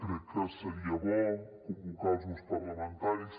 crec que seria bo convocar els grups parlamentaris